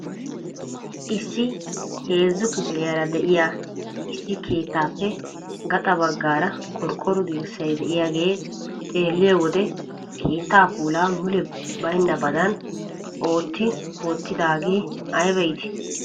Issi heezzu kifiliyaara de'iyaa issi keettaappe gaxa baggaara qorqqoro dirssay de'iyaagee xeelliyoo wode keettaa puulaa mule baynnabadan ootti wottidagee ayba iitii!